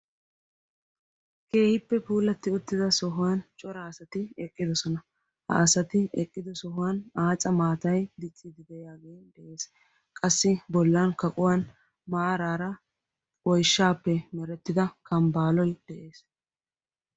keehiippe puulatti uttida sohuwan cora asati eqqidosona ha asati eqqido sohuwan aaca maatay dicciidi deyaagee de'ees qassi bollan kaquwan maaraara oishshaappe merettida kambbaaloy de'ees